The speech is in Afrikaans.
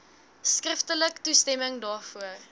skriftelik toestemming daarvoor